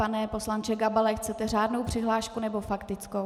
Pane poslanče Gabale, chcete řádnou přihlášku, nebo faktickou?